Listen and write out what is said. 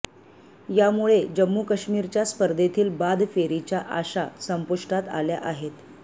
यामुळे जम्मू काश्मीरच्या स्पर्धेतील बाद फेरीच्या आशा संपुष्टात आल्या आहेत